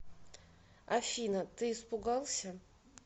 афина ты испугался